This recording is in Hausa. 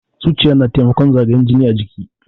Zuciya yana taimakon zagayan jini a jiki.